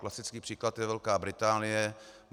Klasický příklad je Velká Británie.